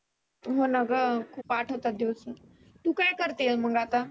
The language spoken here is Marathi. हो ना ग खुप आठवतात दिवस तु काय करते मग आता.